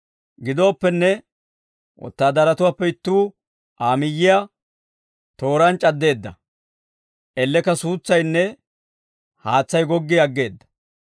Gidooppenne, wotaadaratuwaappe ittuu Aa miyyiyaa tooraan c'addeedda. Ellekka suutsaynne haatsay goggi aggeedda.